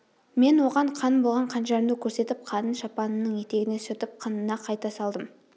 мен оған қан болған қанжарымды көрсетіп қанын шапанымның етегіне сүртіп қынына қайта салдым